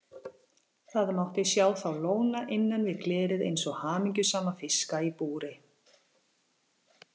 Það mátti sjá þá lóna innan við glerið eins og hamingjusama fiska í búri.